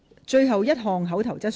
最後一項口頭質詢。